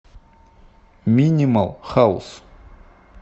минимал хаус